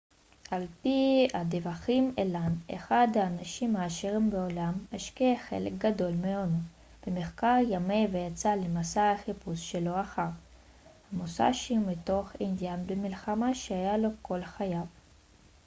על פי הדיווחים אלן אחד האנשים העשירים בעולם השקיע חלק גדול מהונו במחקר ימי ויצא למסע החיפוש שלו אחר המוסאשי מתוך עניין במלחמה שהיה לו כל חייו